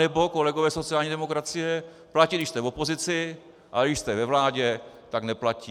Anebo, kolegové sociální demokracie, platí, když jste v opozici, a když jste ve vládě, tak neplatí.